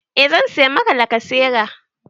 E zan saya Maka lakasera